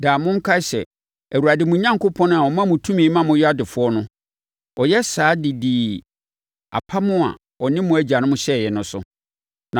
Daa monkae sɛ, Awurade mo Onyankopɔn a ɔma mo tumi ma moyɛ adefoɔ no, ɔyɛ saa de dii apam a ɔne mo agyanom hyɛeɛ no so.